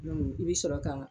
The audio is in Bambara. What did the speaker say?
i bɛ sɔrɔ ka